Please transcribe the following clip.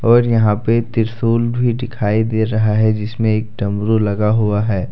और यहां पे त्रिशूल भी दिखाई दे रहा है जिसमें एक डमरू लगा हुआ है।